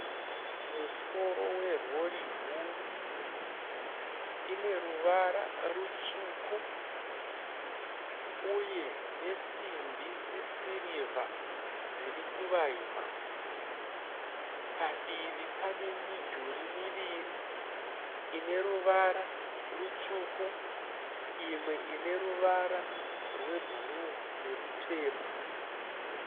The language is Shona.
Musoro we rori huru, ine ruvara rutsvuku uye nesimbi dze sirivha dziri kuvaima. Padivi pane midhurii miviri ine ruvara rutsvuku, imwe ine ruvara rwe bhuruu nerutema.